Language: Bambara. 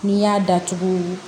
N'i y'a datugu